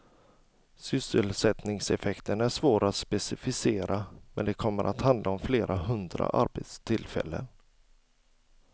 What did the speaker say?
Sysselsättningseffekten är svår att specificera, men det kommer att handla om flera hundra arbetstillfällen.